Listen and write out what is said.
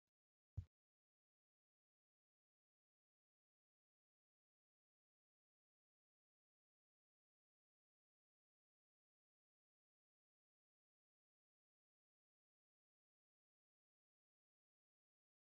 Namoota karaa irra deemaa jiran argaa kan jirruufi namoota kana keessaa ammoo namni tokko meeshaa mataa isaa irratti baatee deemaa kan jiru argaa kan jirrudha. Konkolaataan xiqqaan tokkos fuuldura namoota kanaa deemaa jira.